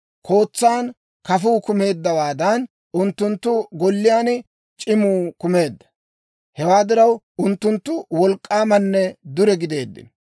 Kootsan kafuu kumeeddawaadan, unttunttu golliyaan c'imuu kumeedda. Hewaa diraw, unttunttu wolk'k'aamanne dure gideeddino.